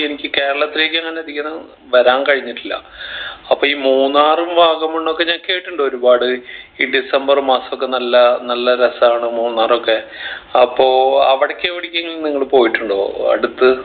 എനിക്ക് കേരളത്തിലേക്ക് അങ്ങനെ അധികന്നും വരാൻ കഴിഞ്ഞിട്ടില്ല അപ്പൊ ഈ മൂന്നാറും വാഗമൺ ഒക്കെ ഞാൻ കേട്ടിട്ടുണ്ട് ഒരുപാട് ഈ ഡിസംബർ മാസം ഒക്കെ നല്ല നല്ല രസാണ് മൂന്നാർ ഒക്കെ അപ്പൊ അവിടേക്ക് എവിടേക്കെങ്കിലും നിങ്ങൾ പോയിട്ടുണ്ടോ അടുത്ത്